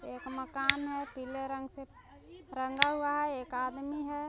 एक मकान है पीले रंग से रंगा हुआ है एक आदमी है।